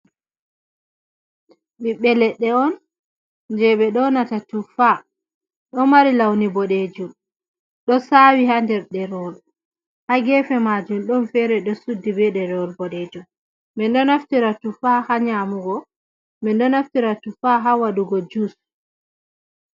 Ɓiɓɓe ledde : On je ɓe ɗonata tuffa ɗo mari launi bodejun ɗo sawi ha nder derewol ha gefe majum don fere ɗo suddi be derewol bodejun min ɗo naftira tuffa ha nyamugo min ɗo naftira tuffa ha wadugo jus.